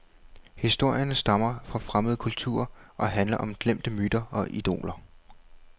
Historierne stammer fra fremmede kulturer og handler om glemte myter og idoler.